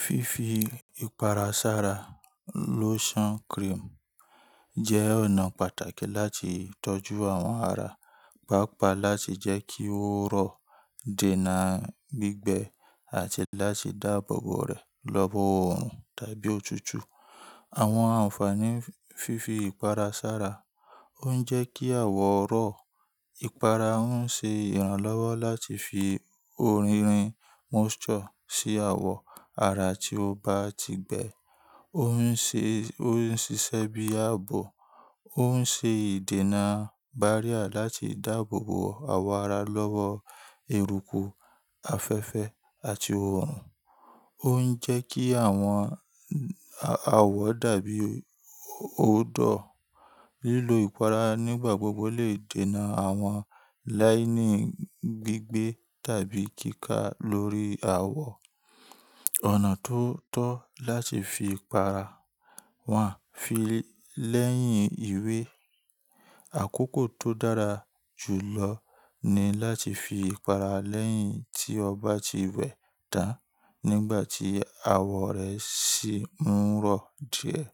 Fífi ìpara sára lotion cream jẹ́ ọ̀nà pàtàkì láti tọ́jú àwọn ara, pàápàá láti jẹ́ kí ó rọ̀, dènà gbígbẹ́ àti láti dáàbò bo rẹ̀ lọ́wọ́ oòrùn tàbí òtútù. Àwọn ànfàaní fífi ìpara sára ó ń jẹ́ kí àwọ̀ rọ̀. Ìpara ń ṣe ìrànlọ́wọ́ láti fi orírin moisture sí àwọ̀ ara tí ó ba ti gbẹ. Ó ń ṣiṣẹ́ bíi ààbò, ó ń ṣe ìdènà barrier láti dáàbò bo àwọ̀ ara lọ́wọ́ eruku, afẹ́fẹ́ àti oòrùn. Ó ń jẹ́ kí àwọ̀n a awo dàbí óo dọ̀. Lílo ìpara nígbà gbogbo lè dènà àwọn láínín gbígbé tàbí kíkà lórí àwọ̀. Ọ̀nà tó tọ́ láti fi ìpara wa fi lẹ́yìn ìwé. Àkókò tó dára jù lọ ni láti fi ìpara lẹ́yìn tí ọba ti wẹ tán nígbà tí àwọ̀ rẹ sì ń rọ̀ díẹ̀.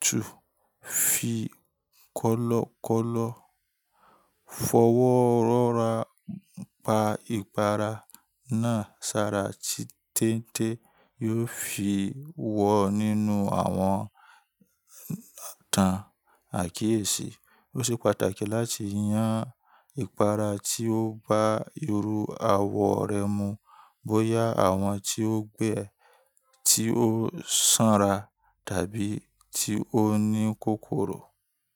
2. Fi kọ́lọ́kọ́lọ́ fọwọ́ rọra pa ìpara náà sára tí téńté yóò fi wọ nínú àwọn tán àkíyèsí. Ó ṣe pàtàkì láti yan ìpara tí ó bá irú àwọ̀ rẹ mu, bóyá àwọn tí ó gbẹ, tí ó sanra tàbí tí ó ní kòkòrò.